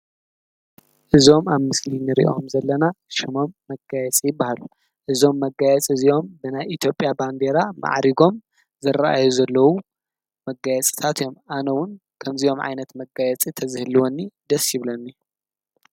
እዞም ኣብ ምስሊ ንሪኦም ዘለና ሽሞም መጋየፂ ይበሃሉ እዞም መጋየፂ እዚኦም ብናይ ኢትዮጵያ ባንዴራ ማእሪጎም ዝረኣዩ ዘለው መጋየፂታት እዮም ከምዚኦም ዓይነት መጋየፂ ተዝህልወኒደስ ይብለኒ::